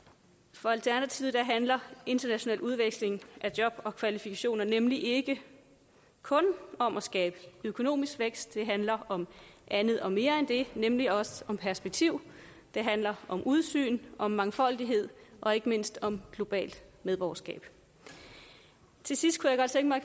for alternativet handler international udveksling af job og kvalifikationer nemlig ikke kun om at skabe økonomisk vækst det handler om andet og mere end det nemlig også om perspektiv det handler om udsyn om mangfoldighed og ikke mindst om globalt medborgerskab til sidst